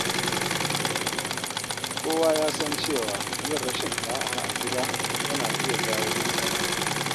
Kowa ya san cewa yin rashin da’a a gida yana iya jawo matsala.